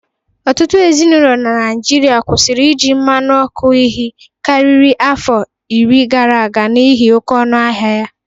Ụtụtụ ezinaụlọ na Naịjịrịa kwụsịrị iji mmanụ ọkụ ihi karịrị afọ iri gara aga n'ihi oke ọnụ ahịa ya.